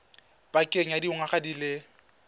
pakeng ya dingwaga di le